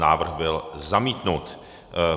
Návrh byl zamítnut.